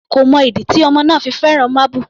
Èmi kò mọ ìdí tí ọmọ náà fi fẹ́ràn máábù.